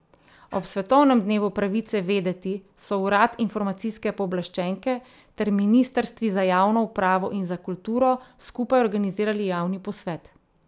Ob svetovnem Dnevu pravice vedeti so urad informacijske pooblaščenke ter ministrstvi za javno upravo in za kulturo skupaj organizirali javni posvet.